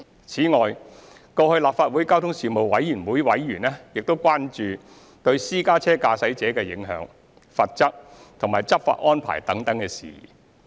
此外，過去立法會交通事務委員會委員亦關注對私家車駕駛者的影響、罰則及執法安排等事宜。